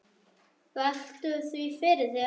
Veltu því fyrir þér.